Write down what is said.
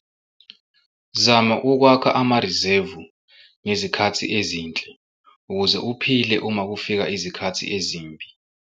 Zama ukwakha amarizevu ngezikhathi ezinhle ukuze uphile uma kufika izikhathi ezimbi.